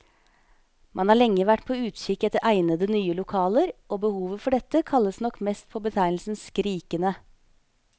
Man har lenge vært på utkikk etter egnede, nye lokaler, og behovet for dette kaller nok mest på betegnelsen skrikende.